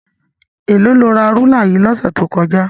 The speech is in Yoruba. Èló lo ra rúlà yìí lọ́sẹ̀ tó kọjá?